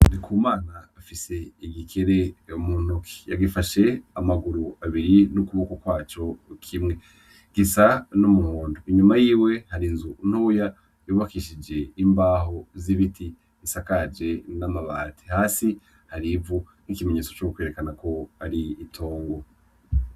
Ndikumana afise igikere mu ntoke, yagifashe amaguru abiri n'ukuboko kwaco kimwe, gisa n'umuhondo, inyuma yiwe hari inzu ntoya yubakishije imbaho z'ibiti zisakaje n'amabati, hasi hari ivu n'ikimenyetso c'ukwerekana ko ari itongo.